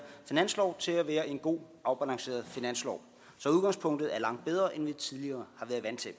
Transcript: finanslov til at være en god afbalanceret finanslov så udgangspunktet er langt bedre end vi tidligere har været vant